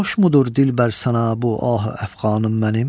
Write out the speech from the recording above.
Xoşmudur dilbər sənə bu ahü əfğanım mənim?